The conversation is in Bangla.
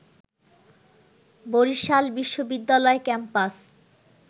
বরিশাল বিশ্ববিদ্যালয় ক্যাম্পাস